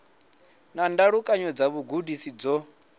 na ndalukanyo dza vhugudisi dzo